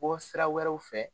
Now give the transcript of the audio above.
bɔ sira wɛrɛw fɛ.